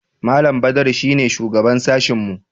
Malam Badaru shi ne shugaban sashinmu.